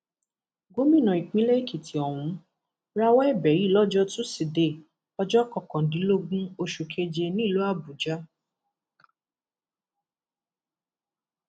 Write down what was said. gómìnà ìpínlẹ èkìtì ọhún rawọ ẹbẹ yìí lọjọ tuside ọjọ kọkàndínlógún oṣù keje nílùú àbújá